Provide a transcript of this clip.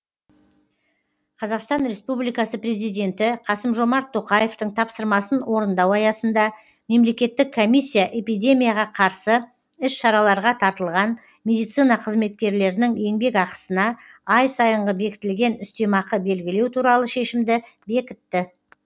қазақстан республикасы президенті қасым жомарт тоқаевтың тапсырмасын орындау аясында мемлекеттік комиссия эпидемияға қарсы іс шараларға тартылған медицина қызметкерлерінің еңбекақысына ай сайынғы бекітілген үстемақы белгілеу туралы шешімді бекітті